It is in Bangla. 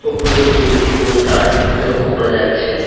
উপরের দিকে একটি পোস্টার লক্ষ করা যাচ্ছে।